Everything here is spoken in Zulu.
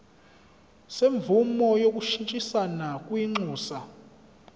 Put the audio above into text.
semvume yokushintshisana kwinxusa